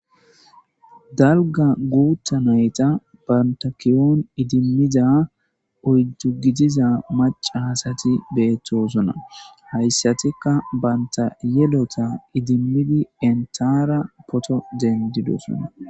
Dalga gutha nayita banta kiyon idimmida oydu gidida macha asati betosona. Hasati banta yelotta idimidi entara photo dendidosona.